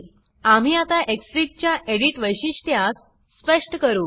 आम्ही आता एक्सफिग च्या एडिट वैशिष्ट्यास स्पष्ट करू